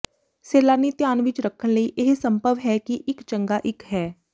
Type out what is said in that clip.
ਸੈਲਾਨੀ ਧਿਆਨ ਵਿੱਚ ਰੱਖਣ ਲਈ ਇਹ ਸੰਭਵ ਹੈ ਕਿ ਇੱਕ ਚੰਗਾ ਇੱਕ ਹੈ